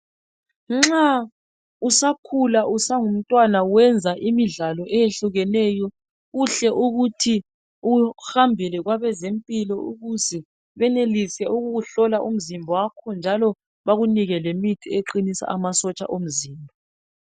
Nxa usakhula usangumntwana wenza imidlalo ehlukeneyo kuhle ukuthi uhambele kwabezempilakahle ukuthi benelise ukukuhlola umzimba wakho njalo bekunike lemithi eqinisa amasotsha omzimba.